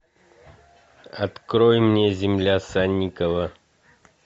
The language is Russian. открой мне земля санникова